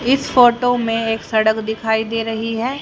इस फोटो में एक सड़क दिखाई दे रही है।